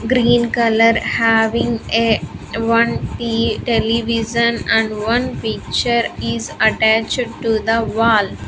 Green color having a one te television and one picture is attached to the wall.